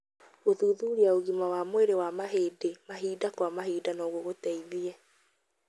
Gũthuthuria ũgima wa mwĩrĩ wa mahĩndĩ mahinda kwa mahinda no gũgũteithie.